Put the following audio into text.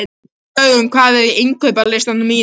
Dögun, hvað er á innkaupalistanum mínum?